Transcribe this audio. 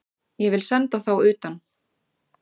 Ég vil senda þá utan!